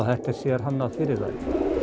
þetta er sérhannað fyrir þær